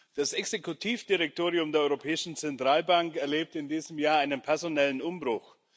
Das Exekutivdirektorium der Europäischen Zentralbank erlebt in diesem Jahr einen personellen Umbruch.